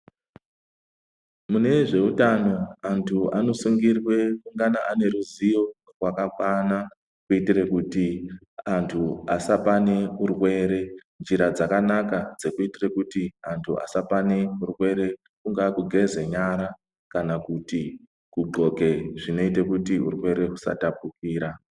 Mune zveutano antu anosungirwe kungana ane ruzivo rwakakwana kuitire kuti antu asapane urwere, njira dzakanaka dzekuitire kuti antu asapane urwere kungaa kugeze nyara kana kuti kudhloke zvinoite kuti urwere husatapukira.